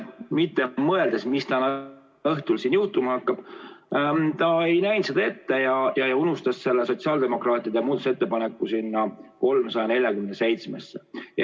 Mitte mõeldes, mis täna õhtul siin juhtuma hakkab, ta ei näinud seda ette ja unustas selle sotsiaaldemokraatide muudatusettepaneku eelnõusse 347.